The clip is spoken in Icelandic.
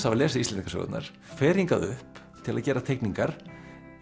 hafa lesið Íslendingasögurnar fer hingað upp til að gera teikningar